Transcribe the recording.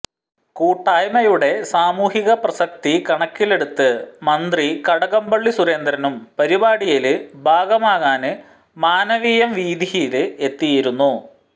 കൂട്ടായ്മയുടെ സാമൂഹികപ്രസക്തി കണക്കിലെടുത്ത് മന്ത്രി കടകംപള്ളി സുരേന്ദ്രനും പരിപാടിയില് ഭാഗമാകാന് മാനവീയം വീഥിയില് എത്തിയിരുന്നു